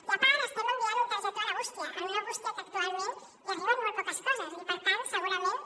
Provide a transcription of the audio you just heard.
i a part estem enviant una targeta a la bústia en una bústia que actualment hi arriben molt poques coses i per tant segurament